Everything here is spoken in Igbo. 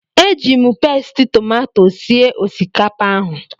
Eji m Pasti tomato sie osikapa ahụ